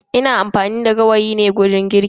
Ina amfani da gawayi ne wajen girki.